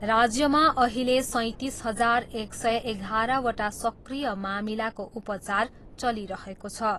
राज्यमा अहिले सैँतिस हजार एक सय एघारवटा सक्रिय मामिलाको उपचार चलिरहेको छ।